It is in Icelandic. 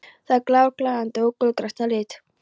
Það er glergljáandi og gulgrænt að lit.